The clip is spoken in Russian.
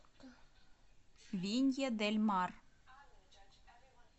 винья дель мар